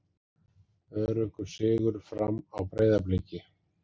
Öruggur sigur Fram á Breiðabliki